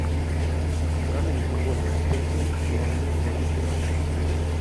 покажи мне футбольную встречу бернли против юнайтед